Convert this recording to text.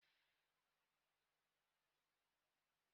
Waya na-adị ka eriri.